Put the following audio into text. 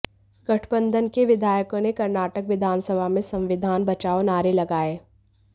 गठबंधन के विधायकों ने कर्नाटक विधानसभा में संविधान बचाओ नारे लगाए